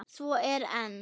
Svo er enn.